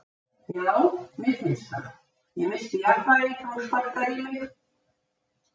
Já, mér finnst það, ég missti jafnvægið þegar hún sparkar í mig.